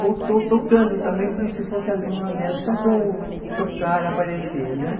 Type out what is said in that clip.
botou tocando também como se fosse aluna dela, só para eu tocar, aparecer, né?